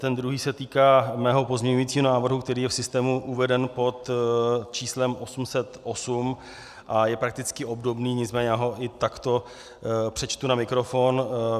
Ten druhý se týká mého pozměňovacího návrhu, který je v systému uveden pod číslem 808 a je prakticky obdobný, nicméně já ho i takto přečtu na mikrofon.